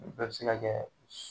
bɛɛ se ka kɛ